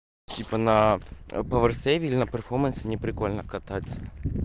типа на паверсеве или на перфомансе не прикольно кататься